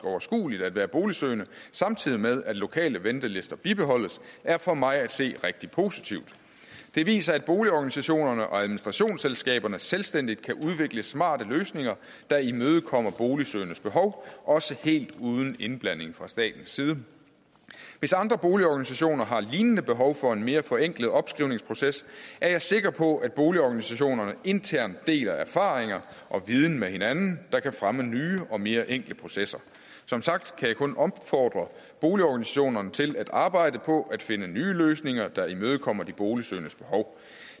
overskueligt at være boligsøgende samtidig med at lokale ventelister bibeholdes er for mig at se rigtig positivt det viser at boligorganisationerne og administrationsselskaberne selvstændigt kan udvikle smarte løsninger der imødekommer boligsøgendes behov også helt uden indblanding fra statens side hvis andre boligorganisationer har lignende behov for en mere forenklet opskrivningsproces er jeg sikker på at boligorganisationerne internt deler erfaringer og viden med hinanden der kan fremme nye og mere enkle processer som sagt kan jeg kun opfordre boligorganisationerne til at arbejde på at finde nye løsninger der imødekommer de boligsøgendes behov